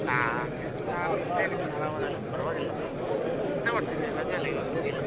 ನಾನ್ ನಾನ್ ಇದ್ದೇನೆ ಆರಾಮದಲ್ಲಿ ಪರ್ವಾಗಿಲ್ಲ ಎಂತ ಮಾಡ್ತಿದ್ರಿ ರಜೆ ಅಲ್ಲಾ ಇವಾಗ ನಿಮಗೆಲ್ಲ.